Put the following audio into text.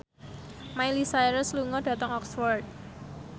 Miley Cyrus lunga dhateng Oxford